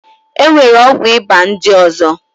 E nwere ọgwụ ịba ndị ọzọ.